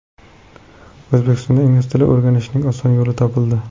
O‘zbekistonda Ingliz tilini o‘rganishning oson yo‘li topildi.